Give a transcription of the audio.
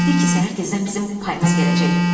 Bilik ki, səhər tezdən bizim payımız gələcək.